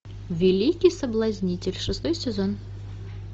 великий соблазнитель шестой сезон